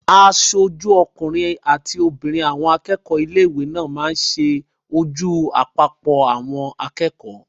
Aṣojú ọkùnrin àti obìnrin àwọn akẹ́kọ̀ọ́ ilé-ìwé náà máa n sojú gbogbo àpapọ̀ àwọn akẹ́kọ̀ọ́